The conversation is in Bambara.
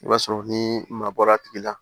I b'a sɔrɔ ni maa bɔra a tigi la